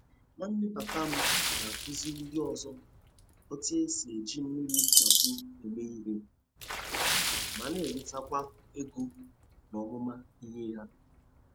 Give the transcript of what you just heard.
Nwanne papa m na-akụziri ndị ọzọ otú e si eji mmiri ntapu eme ihe, ma na-enwetakwa ego n'ọmụma ihe ya.